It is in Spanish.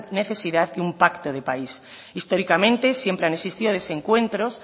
necesidad que un pacto de país históricamente siempre han existido desencuentros